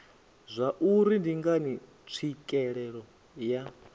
zwauri ndi ngani tswikelelo ya